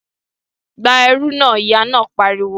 Gba irú náà! Ìyá náà pariwo